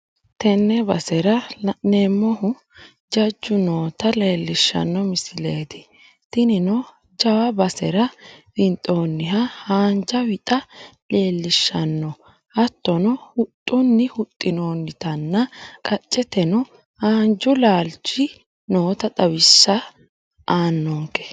tenne baseraa lanemmohu jajuu noota lelishanno misiletti tiinino jawaa baserra winxonniha hanjaa wixaa lelishanno hattono huxuuni huxinnontana qachetenno hanjuu lalchii noota xawishaa annonkee.